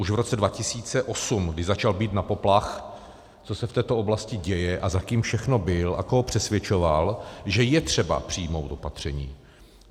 Už v roce 2008, kdy začal bít na poplach, co se v této oblasti děje a za kým všechno byl a koho přesvědčoval, že je třeba přijmout opatření.